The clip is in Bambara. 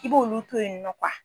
I b'olu to yen nɔ